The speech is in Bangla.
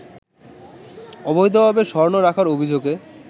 অবৈধভাবে স্বর্ণ রাখারঅভিযোগে